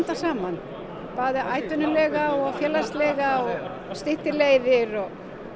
saman atvinnu félagslega og styttir leiðri og